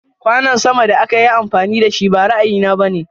Kwanon sama da akayi amfani dashi ba ra'ayi na bane.